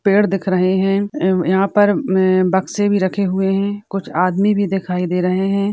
पेड़ दिख रहे है एव यहां पर बक्से भी रखे हुवे है कुछ आदमी भी दिखाई दे रहे है।